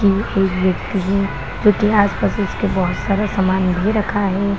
ये एक व्यक्ति है जो की आस-पास इसके बोहोत सारा समाने भी रखा है।